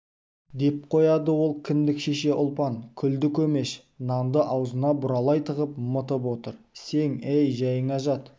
деп қояды ол кіндік шеше ұлпан күлді-көмеш нанды аузына бұралай тығып мытып отыр сең әй жайыңа жат